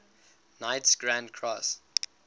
knights grand cross